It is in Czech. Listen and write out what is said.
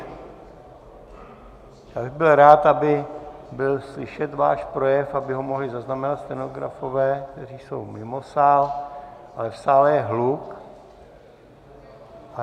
Já bych byl rád, aby byl slyšet váš projev, aby ho mohli zaznamenat stenografové, kteří jsou mimo sál, ale v sále je hluk.